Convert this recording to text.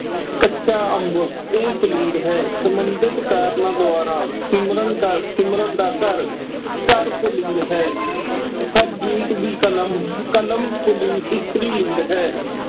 ਕੱਚਾ ਅੰਬ। ਇਹ ਪੁਲਿੰਗ ਹੈ। ਸਬੰਧਿਤ ਕਾਰਨਾਂ ਦੁਆਰਾ ਸਿਮਰਨ ਕਰਅਹ ਦਾ ਸਿਮਰਨ ਦਾ ਘਰ। ਘਰ ਪੁਲਿੰਗ ਹੈ। ਹਰਜੀਤ ਦੀ ਕਲਮ। ਕਲਮ ਪੁਲਿੰਗ ਇਸਤਰੀ ਲਿੰਗ ਹੈ।